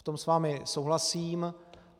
V tom s vámi souhlasím.